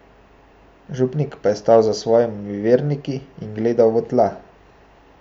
Župnik pa je stal za svojimi verniki in gledal v tla.